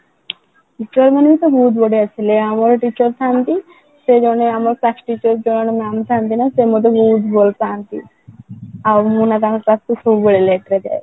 teacher ମାନେ ବି ବହୁତ ବଢିଆ ଥିଲେ ଆମର teacher ଥାନ୍ତି ସେ ଜଣେ ଆମ class teacher ଜଣେ mam ଥାନ୍ତି ନା ସେ ମତେ ବହୁତ ଭଲ ପାଆନ୍ତି ଆଉ ମୁଁ ନା ତାଙ୍କ class ରେ ସବୁବେଳେ late ରେ ଯାଏ